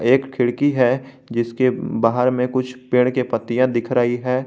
एक खिड़की है जिसके बाहर में कुछ पेड़ के पत्तियां दिख रही है।